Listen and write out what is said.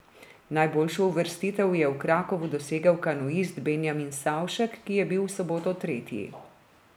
Najboljšo uvrstitev je v Krakovu dosegel kanuist Benjamin Savšek, ki je bil v soboto tretji.